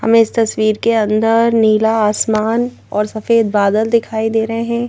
हमें इस तस्वीर के अंदर नीला आसमान और सफेद बादल दिखाई दे रहे हैं।